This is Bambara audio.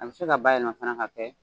A bɛ se ka bayɛlɛma ka kɛ fana k'a kɛ